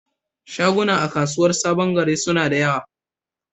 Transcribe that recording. Shaguna a kasuwar saɓon gari suna da ƴawa.